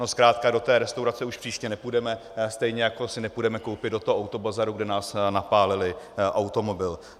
No zkrátka do té restaurace už příště nepůjdeme, stejně jako si nepůjdeme koupit do toho autobazaru, kde nás napálili, automobil.